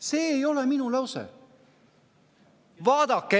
See ei ole minu lause!